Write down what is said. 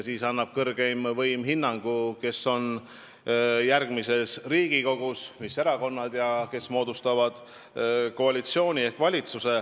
Siis annab kõrgeim võim hinnangu, mis erakonnad on järgmises Riigikogus ja kes moodustavad koalitsiooni ehk valitsuse.